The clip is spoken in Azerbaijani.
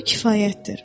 bu kifayətdir.